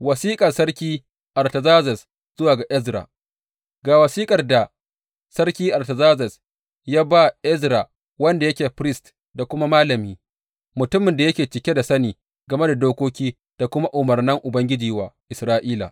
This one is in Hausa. Wasiƙar sarki Artazerzes zuwa ga Ezra Ga wasiƙar da sarki Artazerzes ya ba Ezra wanda yake firist da kuma malami, mutumin da yake cike da sani game da dokoki da kuma umarnan Ubangiji wa Isra’ila.